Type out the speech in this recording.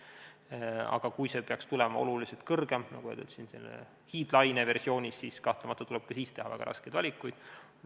Kui see nakatumine peaks tulema suurem, sellises hiidlaine versioonis, siis kahtlemata tuleb ikkagi teha väga raskeid valikuid.